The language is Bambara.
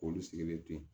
K'olu sigilen to yen